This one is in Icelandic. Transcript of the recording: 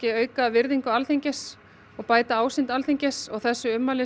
auka virðingu Alþingis og bæta ásýnd Alþingis og þessi ummæli